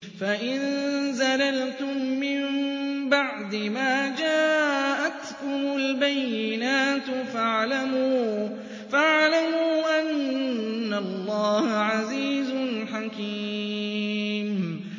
فَإِن زَلَلْتُم مِّن بَعْدِ مَا جَاءَتْكُمُ الْبَيِّنَاتُ فَاعْلَمُوا أَنَّ اللَّهَ عَزِيزٌ حَكِيمٌ